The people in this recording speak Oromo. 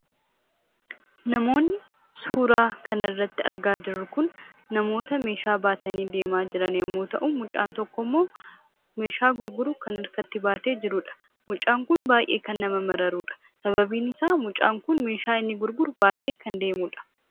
Namoonni suuraa kana irratti argaa jirru kun namoota ba'aa baatanii deemaa jiran yammuu ta'u; mucaan tokko immoo meeshaa gurguru kan harkatti baatee deemuu fi baayyee kan nama mararuu dha. Sababni isaa meeshaa gurguru kan harkatti baatee deemuu dha.